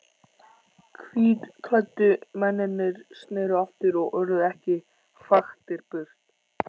Hvítklæddu mennirnir sneru aftur og urðu ekki hraktir burt.